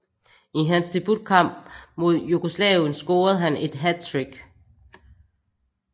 I hans debutkamp mod Jugoslavien scorede han et hattrick